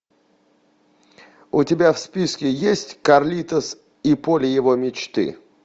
у тебя в списке есть карлитос и поле его мечты